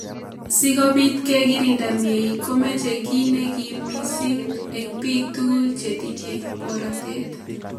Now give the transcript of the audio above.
Sikobit kekirinda mnyeni komeche ki nekim missing eng bik tugul chetinye barotet.